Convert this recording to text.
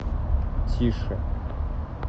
тише